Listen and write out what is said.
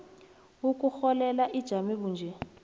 yokurholela ijame bunje